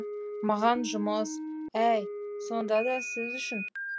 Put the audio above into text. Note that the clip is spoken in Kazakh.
маған жұмыс әй сонда да сіз үшін